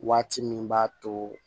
Waati min b'a to